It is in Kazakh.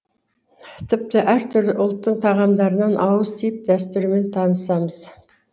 тіпті әртүрлі ұлттың тағамдарынан ауыз тиіп дәстүрімен танысамыз